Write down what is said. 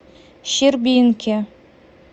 щербинке